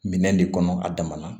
Minɛn de kɔnɔ a damana